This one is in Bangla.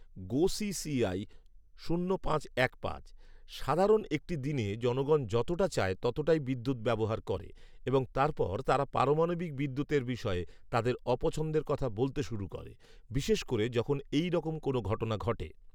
গোসিসিআই শূন্য পাঁচ এক পাঁচ, সাধারণ একটি দিনে জনগণ যতটা চায় ততটাই বিদ্যুৎ ব্যবহার করে এবং তারপর তারা পরমাণবিক বিদ্যুতের বিষয়ে তাদের অপছন্দের কথা বলতে শুরু করে, বিশেষ করে যখন এই রকম কোন ঘটনা ঘটে।